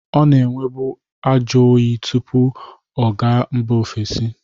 Ọ nara enwebu ajọyị tụpụ ọ ga mba ovesi.